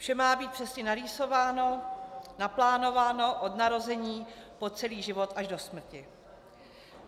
Vše má být přesně narýsováno, naplánováno, od narození po celý život až do smrti.